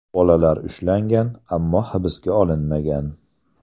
Bolalar ushlangan, ammo hibsga olinmagan.